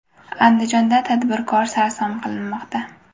Andijonda tadbirkor sarson qilinmoqda.